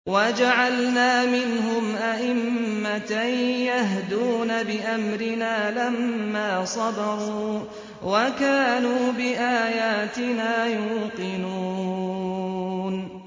وَجَعَلْنَا مِنْهُمْ أَئِمَّةً يَهْدُونَ بِأَمْرِنَا لَمَّا صَبَرُوا ۖ وَكَانُوا بِآيَاتِنَا يُوقِنُونَ